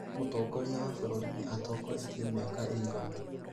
Mũtongoria wa bũrũri-inĩ atongoretie mĩaka ĩigana